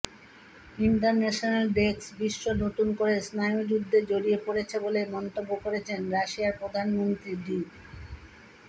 international desk বিশ্ব নতুন করে স্নায়ুযুদ্ধে জড়িয়ে পড়ছে বলে মন্তব্য করেছেন রাশিয়ার প্রধানমন্ত্রী দি